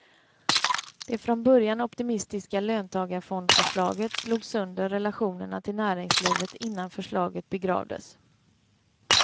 Det från början optimistiska löntagarfondförslaget slog sönder relationerna till näringslivet innan förslaget begravdes.